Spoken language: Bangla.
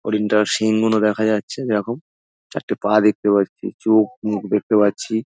হরিণটার শিঙগুনো দেখা যাচ্ছে দেখো। চারটি পা দেখতে পাচ্ছি চোখ মুখ দেখতে পাচ্ছি।